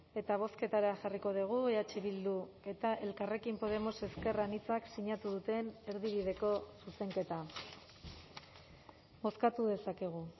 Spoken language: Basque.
eta bozketara jarriko dugu eh bildu eta elkarrekin podemos ezker anitzak sinatu duten erdibideko zuzenketa bozkatu dezakegu